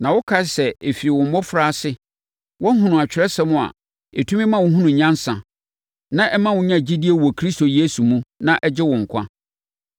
na wokae nso sɛ ɛfiri wo mmɔfraase woahunu Atwerɛsɛm no a ɛtumi ma wo hunu nyansa, na ɛma wo nya gyidie wɔ Kristo Yesu mu, na ɛgye wo nkwa.